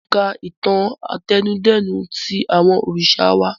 Mo ń ka ìtàn àtẹnudẹ́nu tí àwọn òrìṣà wá